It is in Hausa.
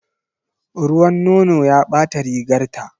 Ruwan nono ya ɓata rigarta.